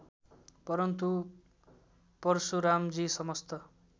परन्तु परशुरामजी समस्त